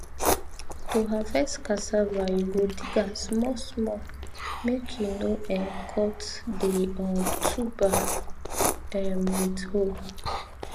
to harvest cassava you go dig am small small make you no um cut the um tuber um with hoe